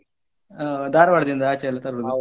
ಹ ಧಾರವಾಡದಿಂದ ಆಚೆ ಎಲ್ಲ ತರುದು.